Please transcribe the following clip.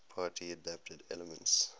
party adapted elements